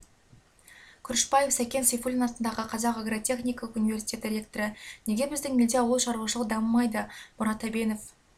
күрішбаев сәкен сейфуллин атындағы қазақ агротехникалық университеті ректоры неге біздің елде ауыл шаруашылығы дамымайды мұрат әбенов